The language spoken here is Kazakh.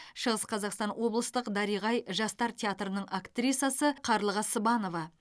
шығыс қазақстан облыстық дариға ай жастар театрының актрисасы қарлыға сыбанова